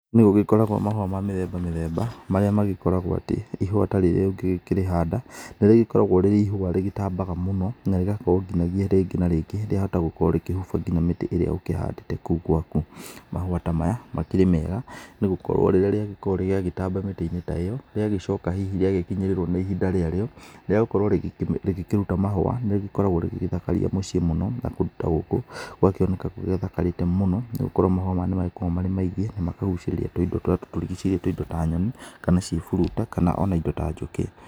Nĩ gũgĩkoragwo mahũa ma mĩthemba mĩthemba marĩa magĩkoragwo atĩ ihũa ta rĩrĩ ũngĩkĩrĩhanda, nĩ rĩgĩkoragwo rĩrĩ ihũa rĩgĩtambaga mũno na rĩgagĩkorwo nginagia rĩngĩ na rĩngĩ rĩahota gũkorwo rĩkĩhoba ngina mĩtĩ ĩrĩa ũhandĩte gwaku. Mahũa ta maya makĩrĩ mega nĩ gũkorwo rĩrĩa nĩ rĩagĩkorwo nĩ rĩagĩtamba mĩtĩ-inĩ ta ĩyo nĩ rĩgũcoka hihi rĩakinyĩrĩrwo nĩ ihinda rĩarĩo rĩagũkorwo rĩkĩruta mahũa nĩ rĩkoragwo rĩgĩgĩthakaria mũciĩ mũno na kũndũ ta gũkũ gũgakĩoneka gũgĩthakarĩte mũno, nĩ gũkorwo mahũa maya nĩ magĩkoragwo marĩ maingĩ na makagũcĩrĩria tũindo tũrĩa tutũrigicĩirie tũindo ta nyoni kana ciĩburuta kana ona indo ta njũkĩ.